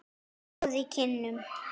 Rjóð í kinnum.